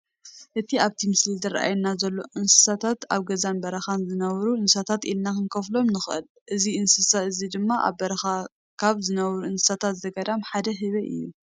እቲ ኣብቲ ምስሊ ዝራኣየና ዘሎ እንስሳታት ኣብ ገዛን በረኻን ዝነብሩ እንሳሳታት ኢልና ክንከፍሎም ንኽእል፡፡ እዚ እንስሳ እዚድማ ኣብ በረኻ ካብ ዝነብሩ እንስሳ ዘገዳም ሓደ ህበይ እዩ፡፡